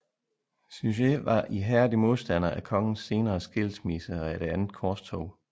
Suger var ihærdig modstander af kongens senere skilsmisse og af det det andet korstog